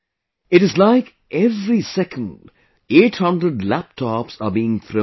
It is like every second 800 laptops are being thrown away